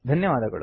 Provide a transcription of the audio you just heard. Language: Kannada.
ಧನ್ಯವಾದಗಳು